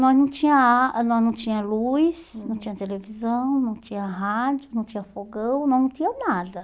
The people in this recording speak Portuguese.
Nós não tinha ah nós não tinha luz, não tinha televisão, não tinha rádio, não tinha fogão, não tinha nada.